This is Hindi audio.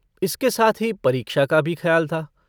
इसके साथ ही परीक्षा का भी खयाल था।